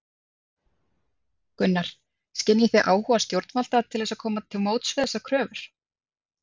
Gunnar: Skynjið þið áhuga stjórnvalda til þess að koma til móts við þessar kröfur?